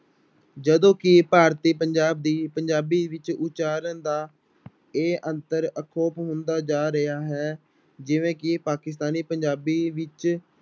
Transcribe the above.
ਜਦੋਂ ਕਿ ਭਾਰਤੀ ਪੰਜਾਬ ਦੀ ਪੰਜਾਬੀ ਵਿੱਚ ਉਚਾਰਨ ਦਾ ਇਹ ਅੰਤਰ ਹੁੰਦਾ ਜਾ ਰਿਹਾ ਹੈ ਜਿਵੇਂ ਕਿ ਪਾਕਿਸਤਾਨੀ ਪੰਜਾਬੀ ਵਿੱਚ